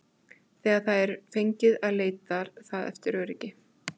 Þegar það er fengið leitar það eftir öryggi.